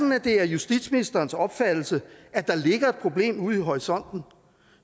at det er justitsministerens opfattelse at der ligger et problem ude i horisonten